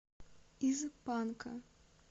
из панка